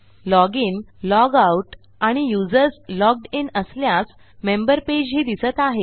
log in log out आणि users logged in असल्यास member पेजही दिसत आहेत